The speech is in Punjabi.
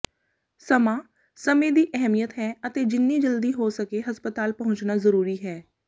ਸਮਾਂ ਸਮੇਂ ਦੀ ਅਹਿਮੀਅਤ ਹੈ ਅਤੇ ਜਿੰਨੀ ਜਲਦੀ ਹੋ ਸਕੇ ਹਸਪਤਾਲ ਪਹੁੰਚਣਾ ਜ਼ਰੂਰੀ ਹੈ